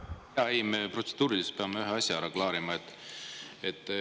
Me peame protseduuriliselt ühe asja ära klaarima.